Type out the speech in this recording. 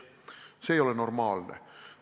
See ei ole normaalne.